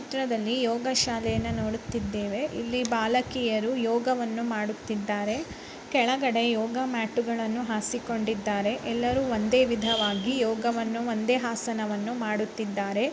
ಈ ಚಿತ್ರದಲ್ಲಿ ಯೋಗ ಶಾಲೆಯನ್ನು ನೋಡುತ್ತಿದ್ದೇವೆ ಇಲ್ಲಿ ಬಾಲಕಿಯರು ಯೋಗವನ್ನು ಮಾಡುತ್ತಿದ್ದಾರೆ ಕೆಳಗಡೆ ಯೋಗ ಮ್ಯಾಟುಗಳನ್ನು ಆಸಿಕೊಂಡಿದ್ದಾರೆ ಎಲ್ಲರೂ ಒಂದೇ ವಿಧವಾಗಿ ಯೋಗವನ್ನು ಒಂದೇ ಆಸನವನ್ನು ಮಾಡುತ್ತಿದ್ದಾರೆ